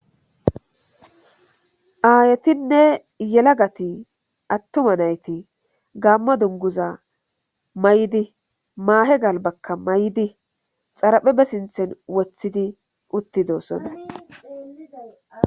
aayetinne yelagati attuma nayti gamma dunguza may7idi maahe gal bakka may7di xaraphebe sinthen woththidi uttidoosona